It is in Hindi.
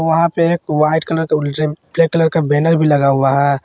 वहां पे एक वाइट कलर का उलजीम ब्लैक कलर बैनर भी लगा हुआ है।